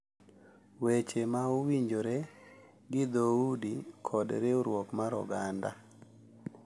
Weche ma owinjore gi dhoudi kod riwruok mar oganda